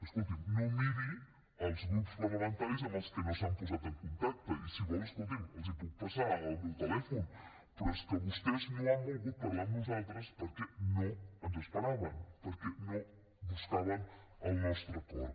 escolti’m no miri als grups parlamentaris amb què no s’han posat en contacte i si vol escolti’m els puc passar el meu telèfon però és que vostès no han volgut parlar amb nosaltres perquè no ens esperaven perquè no buscaven el nostre acord